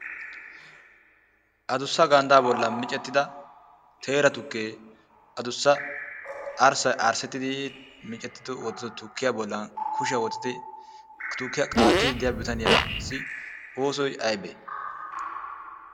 addussa arsaa boli teera tukkee arsaa boli miccettidi des. ha tukkiya qaattidi diya issi bitaniyaassi oosoy aybee?